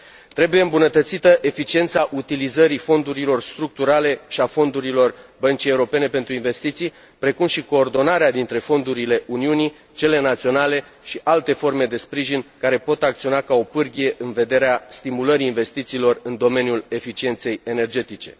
Trebuie îmbunătățită eficiența utilizării fondurilor structurale și a fondurilor Băncii Europene pentru Investiții, precum și coordonarea dintre fondurile Uniunii, cele naționale și alte forme de sprijin care pot acționa ca o pârghie în vederea stimulării investițiilor în domeniul eficienței energetice.